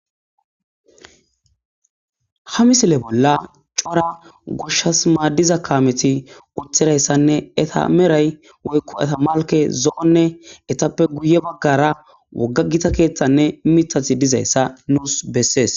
ha misile bolla cora goshshas maaddiza kaameti uthirayssanne eta meray woykko eta malke zo7onne etappe guye baggara woggagita keeththanne mitathi dizayssa nuus bessees